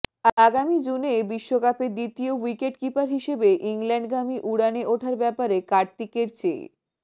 আগামী জুনে বিশ্বকাপে দ্বিতীয় উইকেটকিপার হিসেবে ইংল্যান্ডগামী উড়ানে ওঠার ব্যাপারে কার্তিকের চেয়ে